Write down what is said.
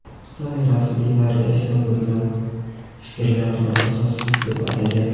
Xitoy rasmiylari esa bunday fikrlarni asossiz deb atagan.